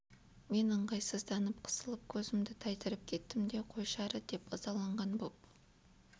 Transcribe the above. мен ыңғайсызданып қысылып көзімді тайдырып кеттім де қойшы әрі дедім ызаланған боп